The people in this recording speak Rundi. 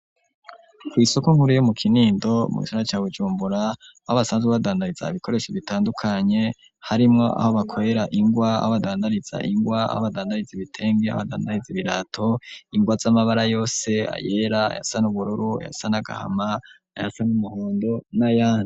Kw'isoko nkuru yo mu Kinindo mu gisagara ca Bujumbura aho abasanzwe badandariza ibikoresho bitandukanye harimwo aho bakorera ingwa, aho badandariza ingwa aho badandariza ibitenge, aho badandariza ibirato, ingwa z'amabara yose, ayera, ayasa n'ubururu, ayasa n'agahama, ayasa n'umuhondo n'ayandi.